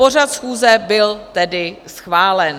Pořad schůze byl tedy schválen.